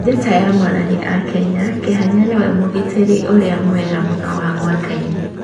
Njata ya Morani ya Kenya Kĩhanya nĩwe mũgitĩri ũrĩa mwega mũno wa mwakainĩ.